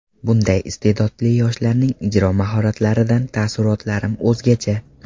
Bunday iste’dodli yoshlarning ijro mahoratlaridan taassurotlarim o‘zgacha.